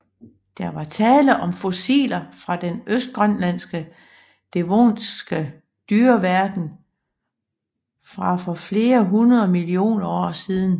Der var tale om fossiler fra den Østgrønlandske devoniske dyreverden fra for flere hundrede millioner år siden